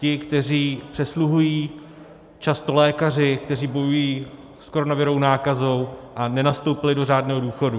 Ti, kteří přesluhují, často lékaři, kteří bojují s koronavirovou nákazou a nenastoupili do řádného důchodu.